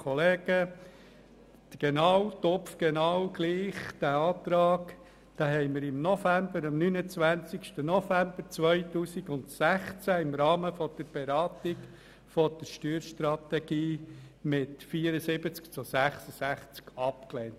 Ganz genau den gleichen Antrag haben wir am 19. November 2016 im Rahmen der Beratung der Steuerstrategie mit 74 zu 66 Stimmen abgelehnt.